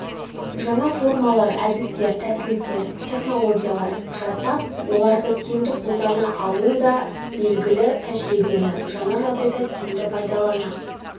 жаңа формалар әдістер тәсілдер технологиялар жасап оларды тиімді қолдана алуда белгілі тәжірибені жаңа жағдайда тиімді пайдалана